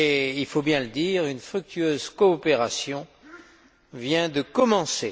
Il faut le dire, une fructueuse coopération vient de commencer.